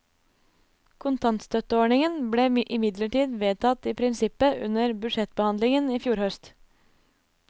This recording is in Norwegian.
Kontantstøtteordningen ble imidlertid vedtatt i prinsippet under budsjettbehandlingen i fjor høst.